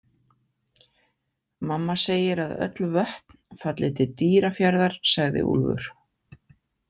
Mamma segir að öll vötn falli til Dýrafjarðar, sagði Úlfur.